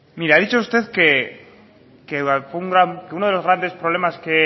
mire ha dicho usted que uno de los grandes problemas